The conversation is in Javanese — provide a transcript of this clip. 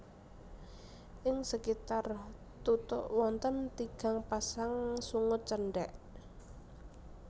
Ing sekitar tutuk wonten tigang pasang sungut cendhèk